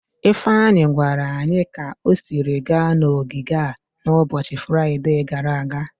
Ifeanyi gwara anyi ka o siri gaa n'ogige a n'ụbọchị Fraide gara aga.